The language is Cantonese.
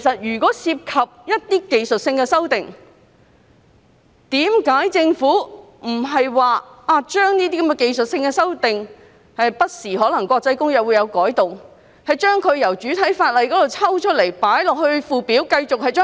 如果涉及技術性改動，為何政府不把該等技術性改動——國際公約不時作出的改動——從主體法例中抽出來，以附表形式處理呢？